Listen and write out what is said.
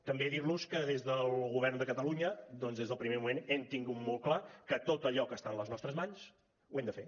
també dir los que des del govern de catalunya doncs des del primer moment hem tingut molt clar que tot allò que està a les nostres mans ho hem de fer